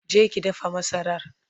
je ki dafa masarar!